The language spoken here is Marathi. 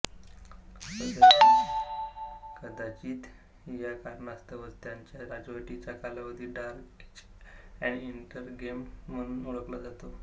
कदाचित या कारणास्तवच त्यांच्या राजवटीचा कालावधी डार्क एज अॅन इंटररेग्नम म्हणून ओळखला जातो